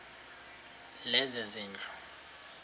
lezezindlu